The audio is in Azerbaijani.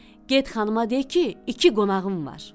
Get xanıma de ki, iki qonağım var.